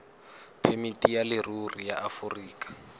phemiti ya leruri ya aforika